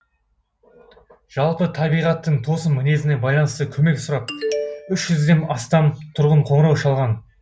жалпы табиғаттың тосын мінезіне байланысты көмек сұрап үш жүзден астам тұрғын қоңырау шалған